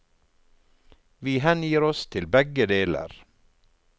Vi hengir oss til begge deler.